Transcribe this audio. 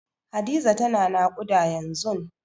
Hadiza tana naƙuda yanzun.